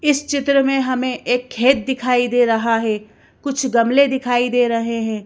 इस चित्र में हमें एक खेत दिखाई दे रहा है कुछ गमले दिखाई दे रहे हैं।